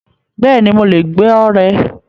Bẹ́ẹ̀ni, Mo le gbọ rẹ̀